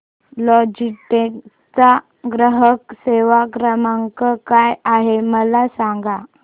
Logitech चा ग्राहक सेवा क्रमांक काय आहे मला सांगा